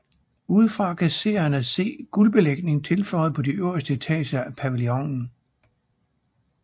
Udefra kan seerne se guldbelægning tilføjet på de øverste etager af pavillonen